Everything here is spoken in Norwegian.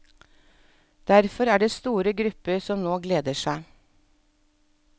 Derfor er det store grupper som nå gleder seg.